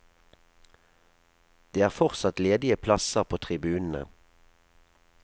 Det er fortsatt ledige plasser på tribunene.